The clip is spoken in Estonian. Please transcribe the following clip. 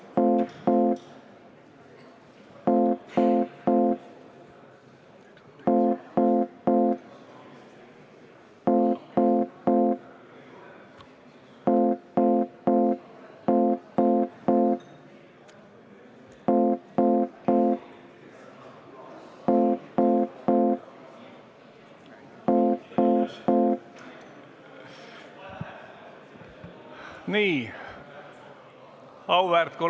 Istungi lõpp kell 12.52.